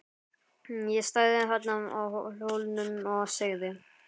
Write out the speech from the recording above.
Ég stæði þarna á Hólnum og segði